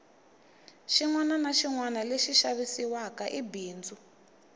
xinwana na xinwana lexi xavisiwaka i bindzu